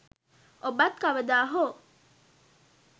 ඔබත් කවදා හෝ